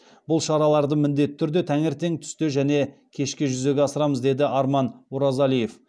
бұл шараларды міндетті түрде таңертең түсте және кеште жүзеге асырамыз деді арман оразалиев